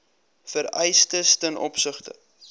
vereistes ten opsigte